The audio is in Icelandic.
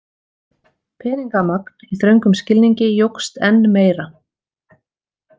Peningamagn í þröngum skilningi jókst enn meira.